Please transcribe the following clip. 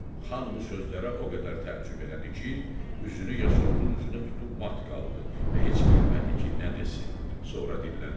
Xan bu sözlərə o qədər təəccüb elədi ki, üzünü Yasovulun üzünə tutub mat qaldı və heç bilmədi ki nə desin, sonra dilləndi.